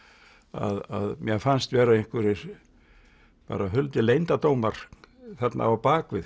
að mér fannst vera einhverjir bara huldir leyndardómar þarna á bak við